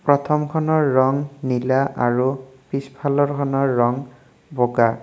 প্ৰথমখনৰ ৰং নীলা আৰু পিছফালৰখনৰ ৰং বগা।